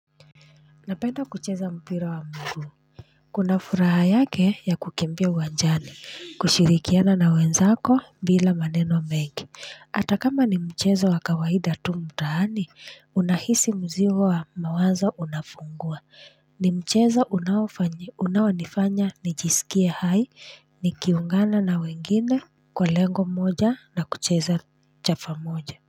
Napenda kucheza mpira wa mguu kuna furaha yake ya kukimbia uwanjani, kushirikiana na wenzako bila maneno mengi hata kama ni mchezo wa kawaida tu mtaani, unahisi mzigo wa mawazo unafungua ni mchezo unaonifanya nijisikie hai nikiungana na wengine kwa lengo moja na kucheza chafa moja.